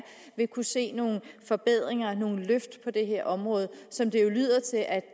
vil kunne se nogle forbedringer nogle løft på det her område som det jo lyder til at